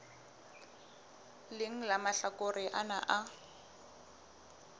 leng la mahlakore ana a